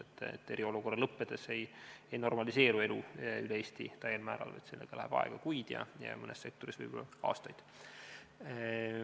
On selge, et eriolukorra lõppedes ei normaliseeru elu üle Eesti täiel määral, sellega läheb aega kuid ja mõnes sektoris võib-olla aastaid.